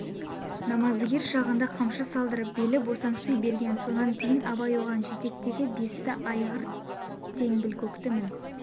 намаздыгер шағында қамшы салдырып белі босаңси берген сонан кейн абай оған жетектегі бесті айғыр теңбілкөкті мін